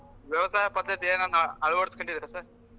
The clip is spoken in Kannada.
ವ್ಯವಸಾಯ ಪದ್ದತಿ ಏನಾನ ಅಳುವಡಿಸ್ ಕೊಂಡಿದ್ದೀರಾ sir ?